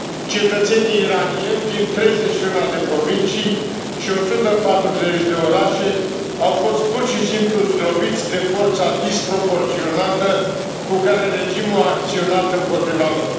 Cetățenii iranieni din 31 de provincii și 140 de orașe au fost pur și simplu zdrobiți de forța disproporționată cu care regimul a acționat împotriva lor.